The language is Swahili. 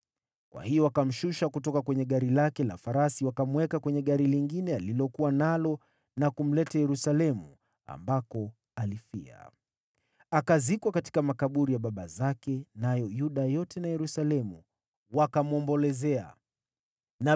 Kwa hiyo wakamshusha kutoka kwenye gari lake la farasi, wakamweka kwenye gari lingine alilokuwa nalo na kumleta Yerusalemu, ambako alifia. Akazikwa katika makaburi ya baba zake, nayo Yuda yote na Yerusalemu wakamwombolezea Yosia.